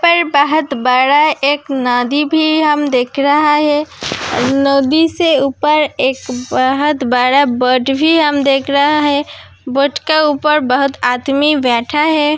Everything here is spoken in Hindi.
पर बोहोत बड़ा एक नदी भी हम देख रहा है। नदी से ऊपर एक बोहोत बड़ा बोट भी हम देख रहा है। बोट का ऊपर बोहोत आदमी बैठा है।